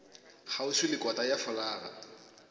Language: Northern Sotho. kgauswi le kota ya folaga